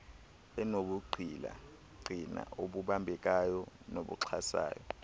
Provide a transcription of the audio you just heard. enobungqina obubambekayo nobuxhasayo